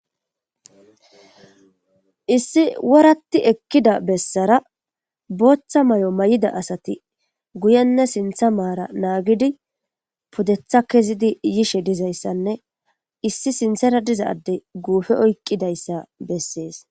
Issi woratti ekkida bessara booththa may7o may7ida asati guyenne sintha maara naagidi pudetha kezidi yishe dizayssanne issi sinthera dizadey guupe oyqqidayssa bessees